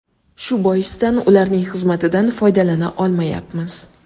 Shu boisdan ularning xizmatidan foydalana olmayapmiz.